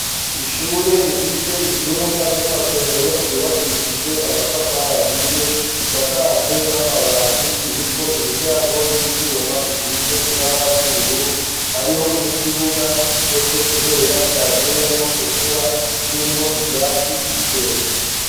Ishure rifise ivyumba by'amasomero vyubakishijwe amatafari ahiye, bisakajwe n'amabati, biriko imiryango y'ivyuma isize ibara ry'ubururu. Hariho n'ikibuga gitose kubera caguyemwo imvura kirimwo ivyatsi bikeya.